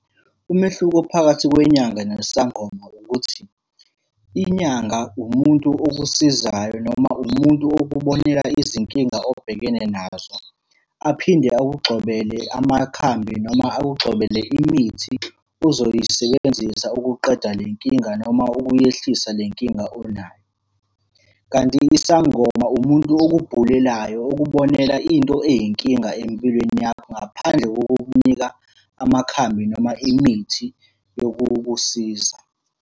Umehluko phakathi kwenyanga nesangoma ukuthi, inyanga umuntu okusizayo noma umuntu okubonela izinkinga obhekene nazo. Aphinde akugxobele amakhambi noma akugxobele imithi ozoyisebenzisa ukuqeda le nkinga noma ukuyehlisa le nkinga onayo, kanti isangoma umuntu okubhulelayo, okubonela into eyinkinga empilweni yakho ngaphandle kokukunika amakhambi noma imithi yokukusiza.